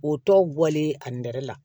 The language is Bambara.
O tɔ bɔlen a nɛrɛ la